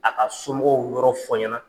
A ka somɔgɔw yɔrɔ fɔ ɲɛna.